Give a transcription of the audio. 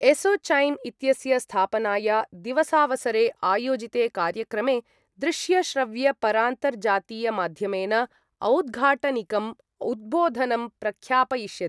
ASSOCHAM इत्यस्य स्थापनाया दिवसावसरे आयोजिते कार्यक्रमे दृश्यश्रव्यपरान्तर्जातीयमाध्यमेन औद्घाटनिकम् उद्बोधनं प्रख्यापयिष्यति।